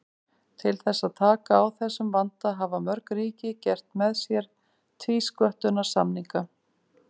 Til þess að taka á þessum vanda hafa mörg ríki gert með sér tvísköttunarsamninga.